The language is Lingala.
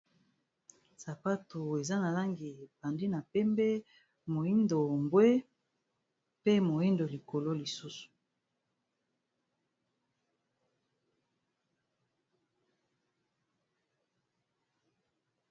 Sapato eza na langi ebandi na pembe, moyindo, mbwe, pe moyindo likolo lisusu.